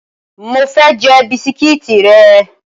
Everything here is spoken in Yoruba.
Mo fe je bisikiti re